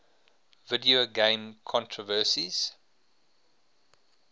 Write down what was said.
video game controversies